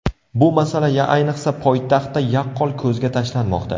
Bu masala ayniqsa poytaxtda yaqqol ko‘zga tashlanmoqda.